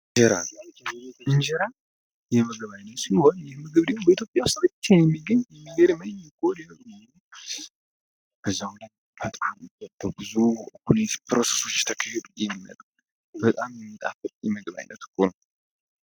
እንጀራ እንጀራ የምግብ ዓይነት ሲሆን በኢትዮጵያ ውስጥ ብቻ የሚገኝ የምግብ ዓይነት ነው ለዛውም ደግሞ በጣም በብዙ ፕሮሰሶች ውስጥ ተካሂዶ የሚያልፍ ነው በጣም የሚጣፍጥ የምግብ ዓይነት ነው።